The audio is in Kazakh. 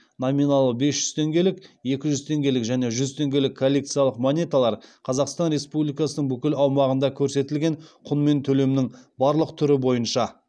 номиналы бес жүз теңгелік екі жүз теңгелік және жүз теңгелік коллекциялық монеталар қазақстан республикасының бүкіл аумағында көрсетілген құнымен төлемнің барлық түрі бойынша